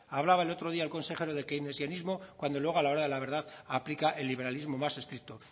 hablaba el otro día el consejero de keinesianismo cuando luego a la hora de la verdad aplica el liberalismo más estricto